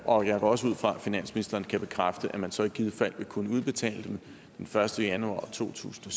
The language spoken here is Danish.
og jeg går også ud fra at finansministeren kan bekræfte at man så i givet fald vil kunne udbetale dem den første januar to tusind